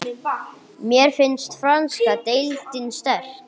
Mér finnst franska deildin sterk.